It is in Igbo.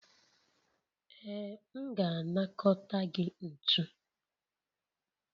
Ee, m ga-anakọta gị ntu